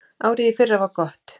Árið í fyrra var gott.